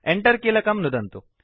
Enter कीलकं नुदन्तु